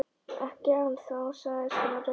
Ekki ennþá- sagði Smári.